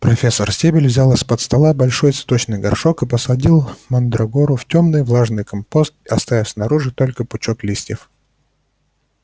профессор стебель взяла из-под стола большой цветочный горшок и посадила мандрагору в тёмный влажный компост оставив снаружи только пучок листьев